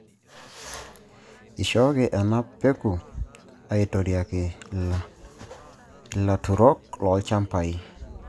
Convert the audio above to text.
Ishooki ena peku aitorioki ilaturok loochamabi